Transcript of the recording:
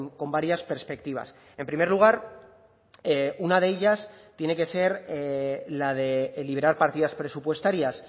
con varias perspectivas en primer lugar una de ellas tiene que ser la de liberar partidas presupuestarias